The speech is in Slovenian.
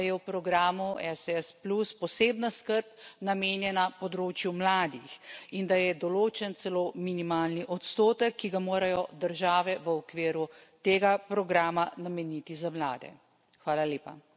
pozdravljam, da je v programu ESS posebna skrb namenjena področju mladih in da je določen celo minimalni odstotek, ki ga morajo države v okviru tega programa nameniti za mlade.